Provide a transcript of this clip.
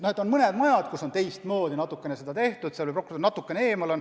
On mõned majad, kus on teistmoodi tehtud, seal on prokurör natuke eemal.